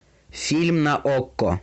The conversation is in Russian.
фильм на окко